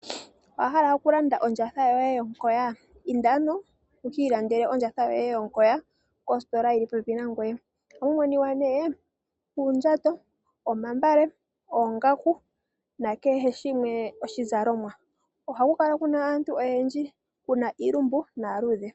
Owa hala okulanda ondjatha yoye yomukoya? Inda ano wuki ilandele ondjatha yoye yomukoya kositola yili popepi nangoye. Ohamu adhika nduno uundjato, omagala, oongaku, na kehe shimwe oshizalomwa. Ohaku kala kuna aantu oyendji, kuna iilumbu naaluudhe.